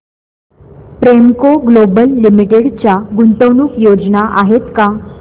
Premco global limited च्या गुंतवणूक योजना आहेत का